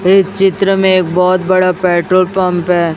ऐ चित्र में एक बहोत बड़ा पेट्रोल पंप है।